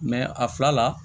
a fila la